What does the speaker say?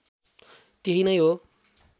त्यही नै हो